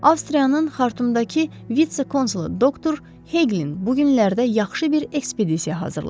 Avstriyanın Xartumdakı vitse-konsulu doktor Heqlin bu günlərdə yaxşı bir ekspedisiya hazırlayıb.